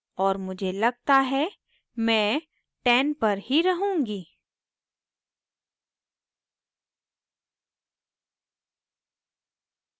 और मुझे लगता है मैं 10 पर ही रहूंगी